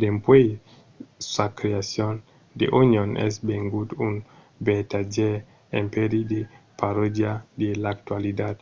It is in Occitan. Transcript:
dempuèi sa creacion the onion es vengut un vertadièr empèri de parodia de l'actualitat